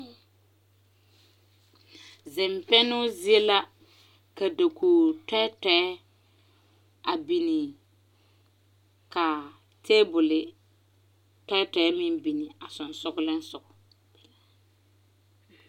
Zimpɛnoo zie la ka dakog tɛɛtɛɛ a biŋ ka taabol tɛɛtɛɛ meŋ biŋ a sɔgsɔgli sɔgɔ.